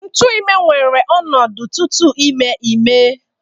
Ntu ime weere ọnọdụ tupu ime ime